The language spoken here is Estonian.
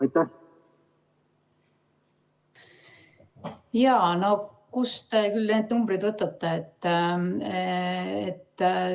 No kust te küll need numbrid võtate?